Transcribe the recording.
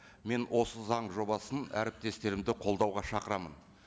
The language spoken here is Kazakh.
мен осы заң жобасын әріптестерімді қолдауға шақырамын